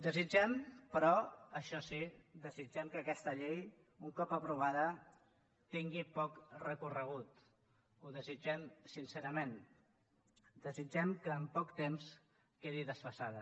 desitgem però això sí que aquesta llei un cop aprovada tingui pot recorregut ho desitgem sincerament desitgem que en poc temps quedi desfasada